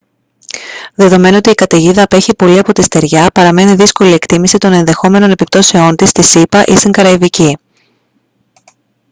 δεδομένου ότι η καταιγίδα απέχει πολύ από τη στεριά παραμένει δύσκολη η εκτίμηση των ενδεχόμενων επιπτώσεων της στις ηπα ή στην καραϊβική